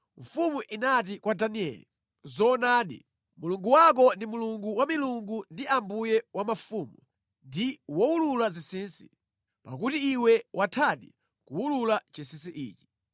Mfumu inati kwa Danieli, “Zoonadi, Mulungu wako ndi Mulungu wa milungu ndi Ambuye wa mafumu ndi wowulula zinsinsi, pakuti iwe wathadi kuwulula chinsinsi ichi.”